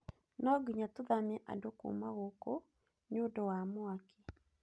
No nginya tũthamie andũ kuuma kũndũ gũkũ nĩ ũndũ wa mwaki.